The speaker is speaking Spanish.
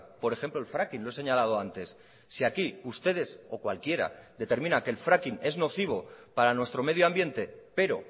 por ejemplo el fracking lo he señalado antes si aquí ustedes o cualquiera determina que el fracking es nocivo para nuestro medioambiente pero